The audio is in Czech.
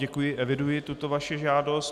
Děkuji, eviduji tuto vaši žádost.